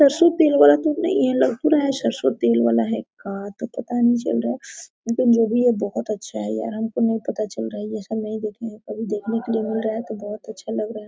सरसों तेल वाला तो नही है लग रहा है सरसो तेल वाला है का तो पता नहीं चल रहा है लेकिन जो भी है बहूत अच्छा है यार हमको नहीं पता चल रहा है ये सब नहीं देखें है कभी देखने के लिए मिल रहा है तो बहुत अच्छा लग रहा है।